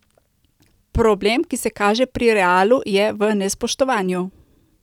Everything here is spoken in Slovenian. Problem, ki se kaže pri Realu, je v nespoštovanju.